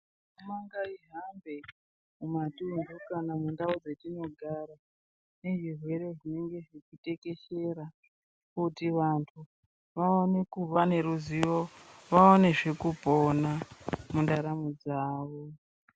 Mo ngai hambe mumatuntu kana mundau dzatinogara yezvirwere zvinenge zvechitekeshera kuti vantu vantu vaone kuva neruzivo vaonezve kupona mundaramo dzawo.